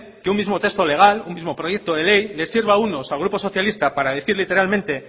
que un mismo texto legal un mismo proyecto de ley le sirva a unos al grupo socialista para decir literalmente